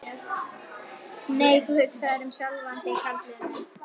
Nei, þú hugsaðir um sjálfan þig karlinn minn.